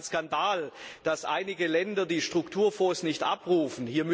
Es ist ein Skandal, dass einige Länder die Strukturfonds nicht abrufen.